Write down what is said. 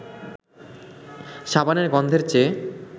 সাবানের গন্ধের চেয়ে